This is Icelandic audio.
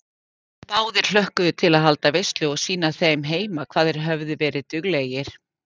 Báðir hlökkuðu til að halda veislu og sýna þeim heima hvað þeir höfðu verið duglegir.